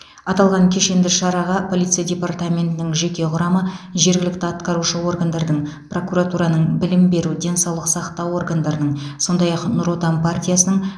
аталған кешенді шараға полиция департаментінің жеке құрамы жергілікті атқарушы органдардың прокуратураның білім беру денсаулық сақтау органдарының сондай ақ нұр отан партиясының